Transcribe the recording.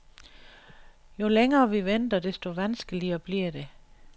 Jo længere vi venter, desto vanskeligere bliver det.